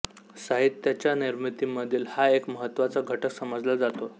साहित्याच्या निर्मितीमधील हा एक महत्त्वाचा घटक समजला जातो